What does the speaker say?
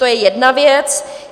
To je jedna věc.